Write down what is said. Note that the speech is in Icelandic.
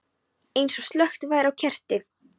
Eins og slökkt væri á kerti.